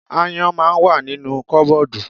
Aáyán ma wà nínu kọ́bọ́ọ̀dù.